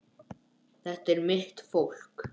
Þetta er mitt fólk.